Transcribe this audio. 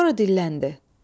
Sonra dilləndi.